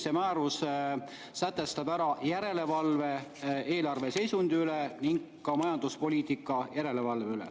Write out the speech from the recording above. See määrus sätestab ära järelevalve eelarveseisundi üle ning ka järelevalve majanduspoliitika üle.